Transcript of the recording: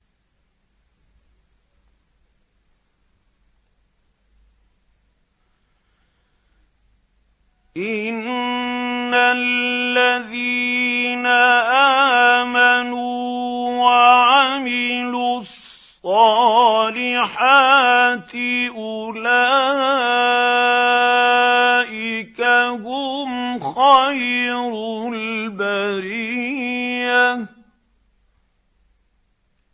إِنَّ الَّذِينَ آمَنُوا وَعَمِلُوا الصَّالِحَاتِ أُولَٰئِكَ هُمْ خَيْرُ الْبَرِيَّةِ